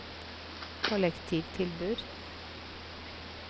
kollektivtilbud